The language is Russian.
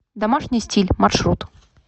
домашний стиль маршрут